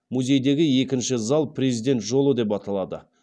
музейдегі екінші зал президент жолы деп аталады